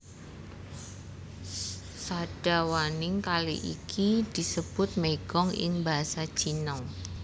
Sadawaning kali iki disebut Meigong ing basa Cina